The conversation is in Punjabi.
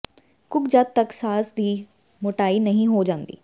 ਕੁੱਕ ਜਦ ਤੱਕ ਸਾਸ ਦੀ ਮੋਟਾਈ ਨਹੀਂ ਹੋ ਜਾਂਦੀ